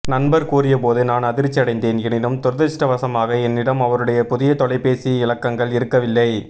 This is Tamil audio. நண்பர் கூறியபோது நான் அதிர்ச்சியடைந்தேன் எனினும் துரதிர்ஷ்ட வசமாக என்னிடம் அவருடைய புதிய தொலைபேசி இலக்கங்கள் இருக்கவில்லை